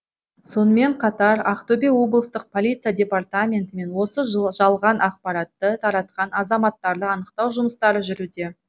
сонымен қатар ақтөбе облыстық полиция департаментімен осы жалған ақпаратты таратқан азаматтарды анықтау жұмыстары жүруде